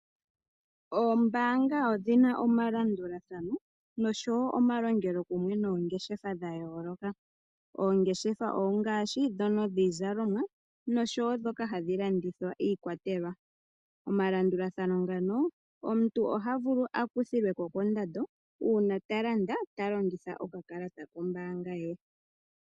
Oombanga odhi na omalandulathano noshowo omalongelokumwe noongeshefa dha yooloka. Oongeshefa ongaashi ndhono dhiizalomwa noshowo ndhoka hadhi landitha iikwatelwa. Omalandulathano ngano omuntu oha vulu a kuthilweko kondando uuna ta landa ta longitha okakalata kombaanga ye.